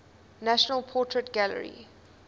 national portrait gallery